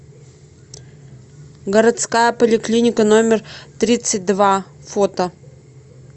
городская поликлиника номер тридцать два фото